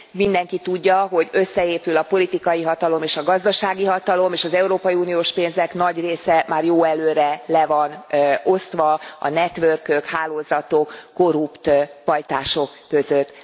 Mindenki tudja, hogy összeépül a politikai hatalom és a gazdasági hatalom, és az európai uniós pénzek nagy része már jó előre le van osztva, a network ök, hálózatok, korrupt pajtások között.